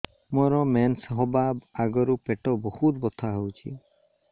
ମୋର ମେନ୍ସେସ ହବା ଆଗରୁ ପେଟ ବହୁତ ବଥା ହଉଚି